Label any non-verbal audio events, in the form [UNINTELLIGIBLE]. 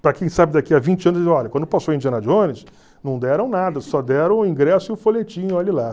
Para quem sabe daqui a vinte anos, [UNINTELLIGIBLE] olha, quando passou Indiana Jones, não deram nada, só deram o ingresso e o folhetinho e olhe lá.